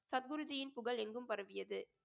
சத்குருஜியின் புகழ் எங்கும் பரவியது